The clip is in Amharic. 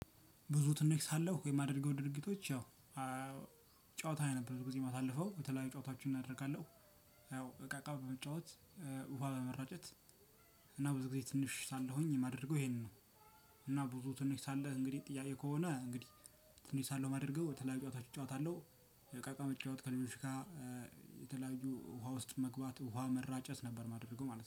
ብዙ ትንሽ ሳለሁ የማደርገው ድርጊቶች ያው ጨዋታ የነበረው ጊዜ የማሳልፈው። የተለያዩ ጨዋታዎችን አደርጋለሁ። ያው እቃ እቃ በመጫወት ውሃ በመራጨት እና ብዙ ጊዜ ትንሽ ሳልሆኝ የማደርገው ይሄንን ነው። እና ብዙ ትንሽ ሳለ እንግዲህ ጥያቄ ከሆነ እንግዲህ ትንሽ ሳለው ማደርገው የተለያዩ ጨዋታዎች እጫወታለሁ። ዕቃቃ መጫወት ከልጆች ጋር የተለያዩ ውሃ ውስጥ መግባት፣ ውሃ መራጨት ነበር የማደርገው ማለት ነው።